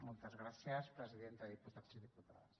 moltes gràcies presidenta diputats i diputades